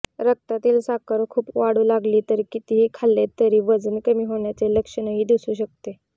रक्तातील साखर खूप वाढू लागली तर कितीही खाल्ले तरी वजन कमी होण्याचे लक्षणही दिसू शकते